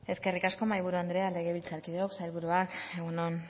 eskerrik asko mahaiburu andrea legebiltzarkideok sailburuak egun on